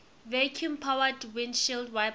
vacuum powered windshield wipers